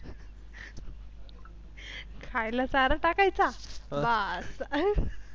खायला चारा टाकायचा बास.